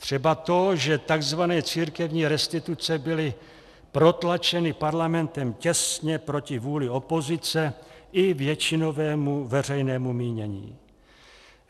Třeba to, že tzv. církevní restituce byly protlačeny Parlamentem těsně proti vůli opozice i většinovému veřejnému mínění.